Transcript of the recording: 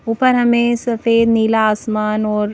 ऊपर हमें सफेद नीला आसमान और--